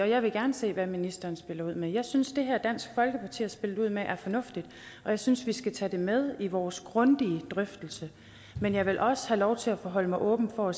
jeg vil gerne se hvad ministeren spiller ud med jeg synes at det her dansk folkeparti har spillet ud med er fornuftigt og jeg synes vi skal tage det med i vores grundige drøftelse men jeg vil også have lov til at forholde mig åbent over